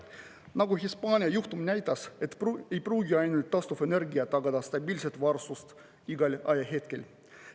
Nagu Hispaania juhtum näitas, ei pruugi ainult taastuvenergia tagada stabiilset varustust igal ajahetkel.